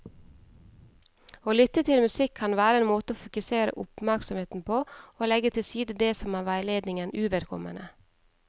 Å lytte til musikk kan være en måte å fokusere oppmerksomheten på og legge til side det som er veiledningen uvedkommende.